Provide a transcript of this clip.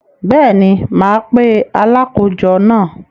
Bẹ́ẹ̀ni, mà á pe “ Alákòójọ” náà.